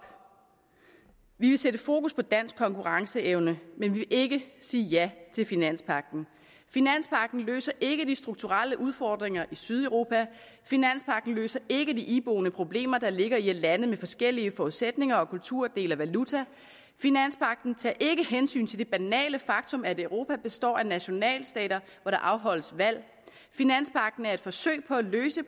vi vil sætte fokus på dansk konkurrenceevne men vi vil ikke sige ja til finanspagten finanspagten løser ikke de strukturelle udfordringer i sydeuropa finanspagten løser ikke de iboende problemer der ligger i at lande med forskellige forudsætninger og kulturer deler valuta finanspagten tager ikke hensyn til det banale faktum at europa består af nationalstater hvor der afholdes valg finanspagten er et forsøg på at løse